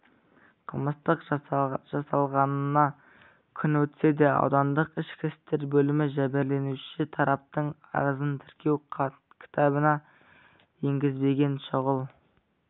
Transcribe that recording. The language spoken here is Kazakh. қылмыстың жасалғанына күн өтсе де аудандық ішкі істер бөлімі жәбірленуші тараптың арызын тіркеу кітабына енгізбеген шұғыл